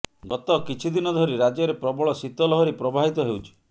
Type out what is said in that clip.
ଗତ କିଛିଦିନ ଧରି ରାଜ୍ୟରେ ପ୍ରବଳ ଶୀତଲହରୀ ପ୍ରବାହିତ ହେଉଛି